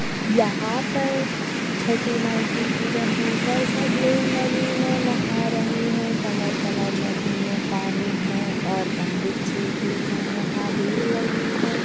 यहाँ पर झटिमाई की पूजन होकर सब लोग नदी मे नहा रहे है कमर कमर नदी मे पानी है और पंडित जी भी है यहाँ भीड़ लगी है।